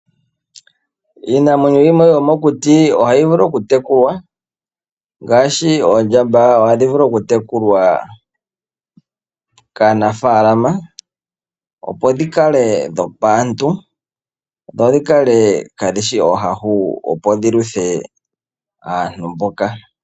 Iinamwenyo yimwe yomokuti ohayi vulu oku tekulwa, ngaashi oondjamba ohadhi vulu okutekulwa kaanafalama, opo dhi kale dhopaantu dho dhi kale kaadhi shi oohahu dhi kondjithe aantu mboka.